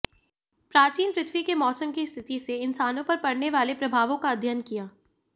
प्राचीन पृथ्वी के मौसम की स्थिति से इंसानों पर पड़ने वाले प्रभावों का अध्ययन किया